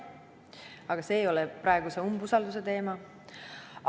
Aga mitte see ei ole praeguse umbusalduse teema.